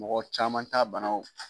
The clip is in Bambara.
Mɔgɔ caman t'a banaw